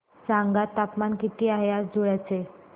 सांगा तापमान किती आहे आज धुळ्याचे